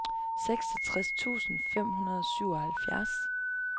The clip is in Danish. seksogtres tusind fem hundrede og syvoghalvfjerds